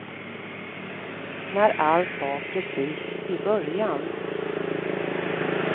När allt var precis i början.